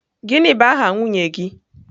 Gịnị bụ aha nwunye gị?